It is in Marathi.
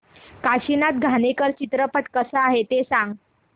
काशीनाथ घाणेकर चित्रपट कसा आहे ते सांग